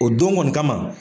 O don kɔni kama.